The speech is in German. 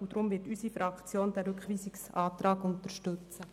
Deshalb wird unsere Fraktion den Rückweisungsantrag unterstützen.